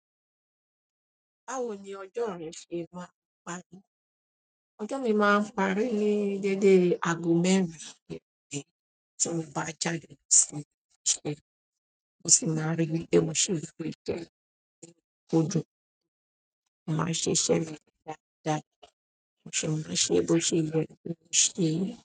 Báwo ni ọjọ́ rẹ ṣe máa ń parí? Ọjọ́ mi máa ń parí ní dédé ago mẹ́rin iroẹ́ tí mo bá jáde lọ sí ilé iṣẹ́. Mo sì máa rí pé mo ṣòro tó kódun. Mo máa ṣiṣẹ́ mi dáadáa ṣùgbọ́n ṣe bó ṣe yẹ kó ṣe.